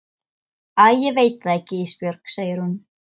Æ ég veit það ekki Ísbjörg, segir hún.